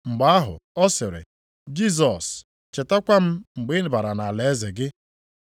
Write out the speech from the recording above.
Mgbe ahụ ọ sịrị, “Jisọs, chetakwa m mgbe ị bara nʼalaeze gị.”